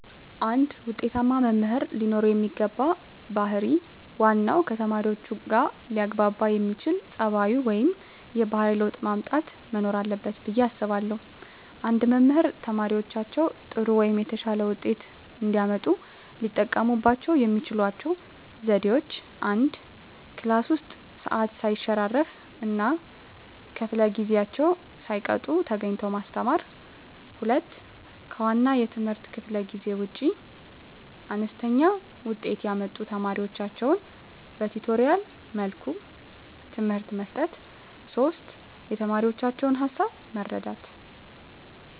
አንድ ውጤታማ መምህር ለኖረው የሚገባው ባህር ዋናው ከተማሪዎቹጋ ሊያግባባ የሚያስችል ፀባዩ ወይም የባህሪ ለውጥ ማምጣት መኖር አለበት ብየ አስባለሁ። አንድ መምህር ተማሪዎቻቸው ጥሩ ወይም የተሻለ ውጤት እንዲያመጡ ሊጠቀሙባቸው የሚችሏቸው ዘዴዎች፦ 1, ክላስ ውስጥ ሰዓት ሰይሸራርፍ እና ከፈለ ጊዜአቸውን ሳይቀጡ ተገኝተው ማስተማር። 2, ከዋና የትምህርት ክፍለ ጊዜ ውጭ አነስተኛ ውጤት ያመጡ ተማሪዎቻቸውን በቲቶሪያል መልኩ ትምህርት መስጠት። 3, የተማሪዎቻቸውን ሀሳብ መረዳት